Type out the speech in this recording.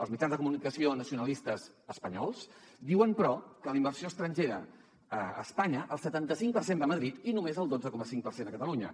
els mitjans de comunicació nacionalistes espanyols diuen però que de la inversió estrangera a espanya el setanta cinc per cent va a madrid i només el dotze coma cinc per cent a catalunya